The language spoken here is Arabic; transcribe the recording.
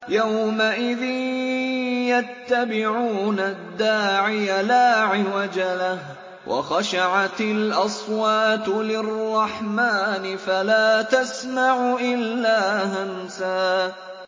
يَوْمَئِذٍ يَتَّبِعُونَ الدَّاعِيَ لَا عِوَجَ لَهُ ۖ وَخَشَعَتِ الْأَصْوَاتُ لِلرَّحْمَٰنِ فَلَا تَسْمَعُ إِلَّا هَمْسًا